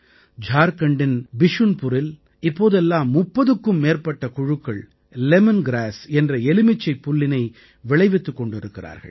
ஜார்க்கண்டின் பிஷுன்புரில் இப்போதெல்லாம் முப்பதுக்கும் மேற்பட்ட குழுக்கள் லெமன் கிராஸ் என்ற எலுமிச்சைப் புல்லினை விளைவித்துக் கொண்டிருக்கிறார்கள்